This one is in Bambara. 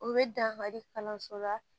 U bɛ dankari kalanso la